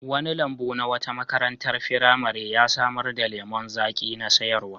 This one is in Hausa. Wani lambu na wata makarantar firamare ya samar da lemon zaƙi na sayarwa.